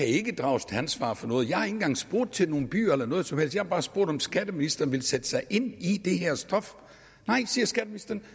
ikke kan drages til ansvar for noget jeg har ikke engang spurgt til nogle byer eller noget som helst jeg har bare spurgt om skatteministeren vil sætte sig ind i det her stof nej siger skatteministeren